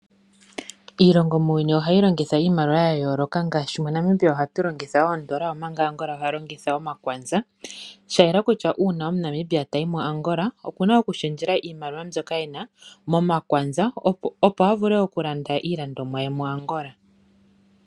Iilongo muuyuni ohayi longitha iimaliwa ya yooloka. Ngaashi MoNamibia ohamu longithwa oondola, omanga Angola oha longitha omakwanza. Shayela kutya uuna omuNamibia tayi mu Angola okuna okushendjela iimaliwa mbyoka e na, momakwanza, opo a vule okulanda iilandomwa ye muAngola.